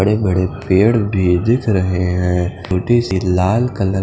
बड़े बड़े पेड़ भी दिख रहे हैं छोटी सी लाल कलर --